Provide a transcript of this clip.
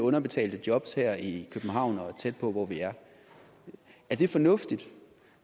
underbetalte jobs her i københavn og tæt på hvor vi er er det fornuftigt